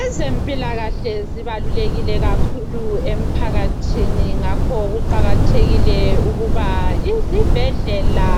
Ezempilakahle zibalulekile kakhulu emphakathini. Ngakho kuqakathekile ukuba izibhedlela